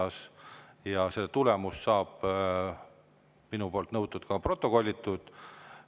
Selle tulemus saab minu nõudmisel ka protokollitud.